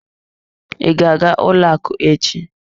I ga-aga ụlọ akụ echi?